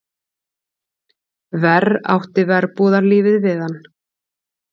Verr átti verbúðarlífið við hann.